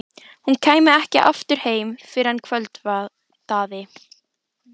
Hún kæmi ekki aftur heim fyrr en kvöldaði.